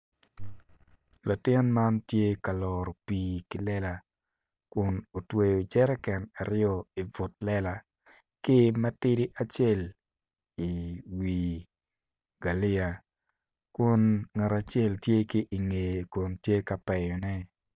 Latin man tye ka loro pii ki lela kun otweyo jerican aryo i teng lela ki matidi acel i wi galia kun ngat acel tye ki i ngeye kun tye ka peyone.